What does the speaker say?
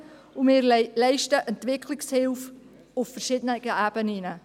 Wir leisten Entwicklungshilfe auf verschiedenen Ebenen.